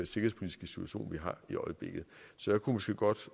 situation vi har i øjeblikket så jeg kunne måske godt